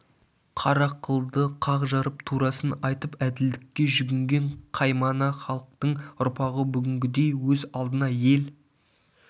қара қылды қақ жарып турасын айтып әділдікке жүгінген қаймана халықтың ұрпағы бүгінгідей өз алдына ел